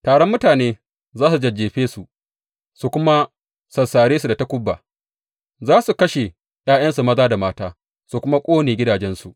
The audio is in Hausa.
Taron mutanen za su jajjefe su, su kuma sassare su da takuba; za su kashe ’ya’yansu maza da mata su kuma ƙone gidajensu.